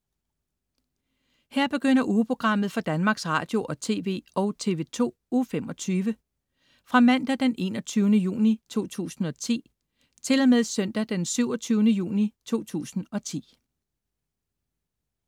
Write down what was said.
Her begynder ugeprogrammet for Danmarks Radio- og TV og TV2 Uge 25 Fra Mandag den 21. juni 2010 Til Søndag den 27. juni 2010